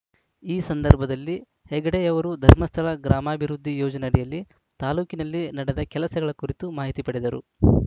ಈ ಸಂದರ್ಭದಲ್ಲಿ ಹೆಗ್ಗಡೆಯವರು ಧರ್ಮಸ್ಥಳ ಗ್ರಾಮಾಭಿವೃದ್ಧಿ ಯೋಜನೆ ಅಡಿಯಲ್ಲಿ ತಾಲೂಕಿನಲ್ಲಿ ನಡೆದ ಕೆಲಸಗಳ ಕುರಿತು ಮಾಹಿತಿ ಪಡೆದರು